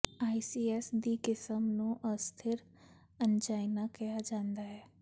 ACS ਦੀ ਕਿਸਮ ਨੂੰ ਅਸਥਿਰ ਐਨਜਾਈਨਾ ਕਿਹਾ ਜਾਂਦਾ ਹੈ